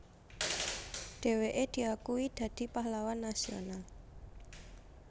Dheweke diakui dadi Pahlawan Nasional